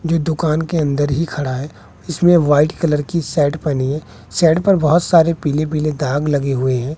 जो दुकान के अंदर ही खड़ा है इसमें वाइट कलर की शर्ट पहनी है शर्ट पर बहोत सारे पीले पीले दाग लगे हुए हैं।